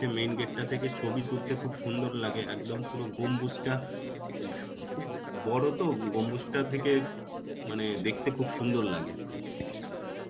main gate টা থেকে ছবি তুলতে খুব সুন্দর লাগে একদম পুরো গম্বুজটা. বড় তো গম্বুজটা থেকে মানে দেখতে খুব সুন্দর লাগে.